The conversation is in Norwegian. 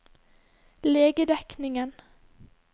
legedekningen